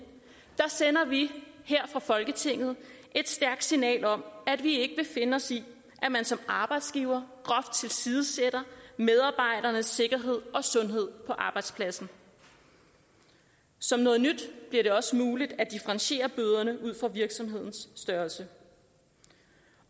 sender vi her fra folketinget et stærkt signal om at vi ikke vil finde os i at man som arbejdsgiver groft tilsidesætter medarbejdernes sikkerhed og sundhed på arbejdspladsen som noget nyt bliver det også muligt at differentiere bøderne ud fra virksomhedens størrelse